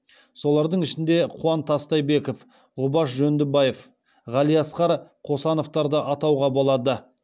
солардың ішінде қуан тастайбеков ғұбаш жөндібаев ғалиасқар қосановтарды атауға болады